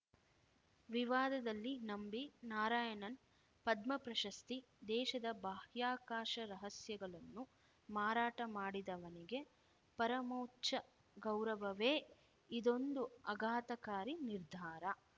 ವಿವಾದದಲ್ಲಿ ನಂಬಿ ನಾರಾಯಣನ್‌ ಪದ್ಮ ಪ್ರಶಸ್ತಿ ದೇಶದ ಬಾಹ್ಯಾಕಾಶ ರಹಸ್ಯಗಳನ್ನು ಮಾರಾಟ ಮಾಡಿದವನಿಗೆ ಪರಮೋಚ್ಚ ಗೌರವವೇ ಇದೊಂದು ಅಘಾತಕಾರಿ ನಿರ್ಧಾರ